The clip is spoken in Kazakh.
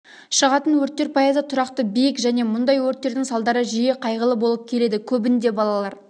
шығатын өрттер пайызы тұрақты биік және мұндай өрттердің салдары жиі қайғылы болып келеді көбінде балалар